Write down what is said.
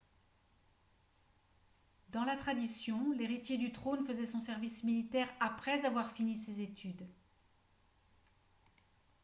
dans la tradition l'héritier du trône faisait son service militaire après avoir fini ses études